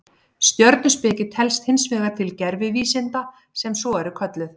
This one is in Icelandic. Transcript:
Stjörnuspeki telst hins vegar til gervivísinda sem svo eru kölluð.